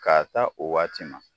Ka ta o waati ma.